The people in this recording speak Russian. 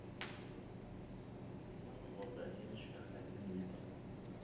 масло золотая семечка один литр